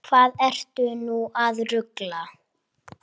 Hvað ertu nú að rugla!